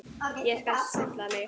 Ég skal stilla mig.